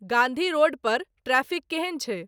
Gandhi road पर ट्रैफिक केहन छै